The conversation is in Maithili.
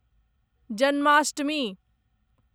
जन्माष्टमी